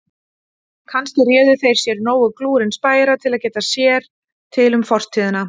Kannski réðu þeir sér nógu glúrinn spæjara til að geta sér til um fortíðina.